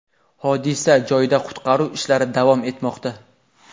Hodisa joyida qutqaruv ishlari davom etmoqda.